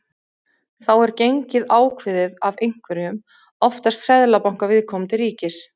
Þá er gengið ákveðið af einhverjum, oftast seðlabanka viðkomandi ríkis.